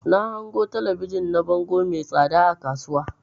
Na hango talabijin na bango mai tsada a kasuwa.